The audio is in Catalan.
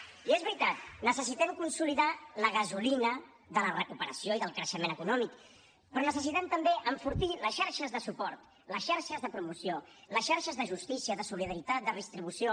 i és veritat necessitem consolidar la gasolina de la recuperació i del creixement econòmic però necessitem també enfortir les xarxes de suport les xarxes de promoció les xarxes de justícia de solidaritat de redistribució